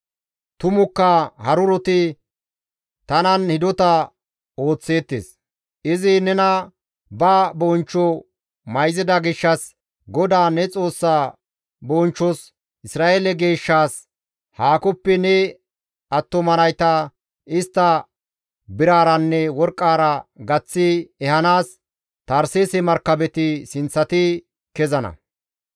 Tumukka haruroti tanan hidota ooththeettes; izi nena ba bonchcho mayzida gishshas, GODAA ne Xoossa bonchchos, Isra7eele Geeshshaas haakoppe ne attuma nayta, istta biraaranne worqqaara gaththi ehanaas Tarseese markabeti sinththati kezana.